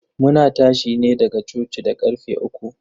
Muna tashi ne daga coci da karfe uku.